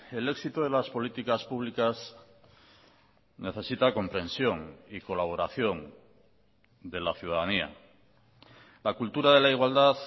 el éxito de las políticas públicas necesita comprensión y colaboración de la ciudadanía la cultura de la igualdad